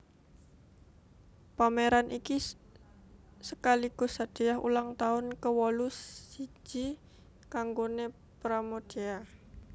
Pameran iki sekaligus hadiah ulang tahun kewolu siji kanggoné Pramoedya